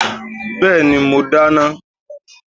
Bẹ́ẹ̀ni, mo dáná.